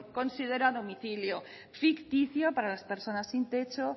considera domicilio ficticio para las personas sin techo